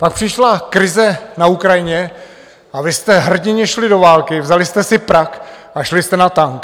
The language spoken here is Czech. Pak přišla krize na Ukrajině a vy jste hrdinně šli do války, vzali jste si prak a šli jste na tank.